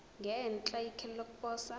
ngenhla ikheli lokuposa